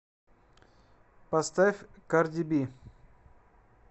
поставь карди би